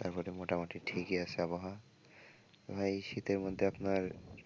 তারপরে মোটামুটি ঠিকই আছে আবহাওয়া তো ভাই শীতের মধ্যে আপনার